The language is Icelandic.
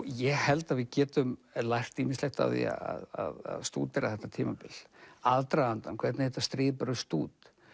ég held að við getum lært ýmislegt af því að stúdera þetta tímabil aðdragandann hvernig þetta stríð braust út